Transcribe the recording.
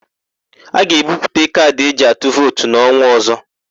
A ga-ebuputa kaadị eji atụ vootu n'ọnwa ọ̀zó.